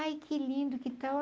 Ai, que lindo, que tal?